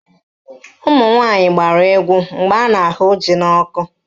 Ụmụnwaanyị gbara egwu mgbe a na-ahụ ji n'ọkụ